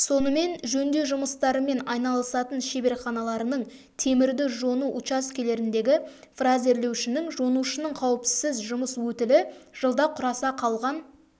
сонымен жөндеу жұмыстарымен айналысатын шеберханаларының темірді жону учаскелеріндегі фрезерлеушінің жонушының қауіпсіз жұмыс өтілі жылда құраса қалған